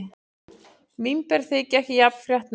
Vínber þykja ekki jafn fréttnæm.